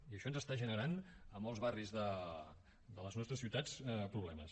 i això ens està generant a molts barris de les nostres ciutats problemes